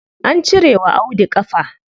An cire wa Audu ƙafa.